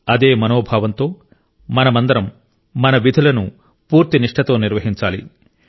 అదే మనోభావంతో మనమందరం మన విధులను పూర్తి నిష్ఠతో నిర్వహించాలి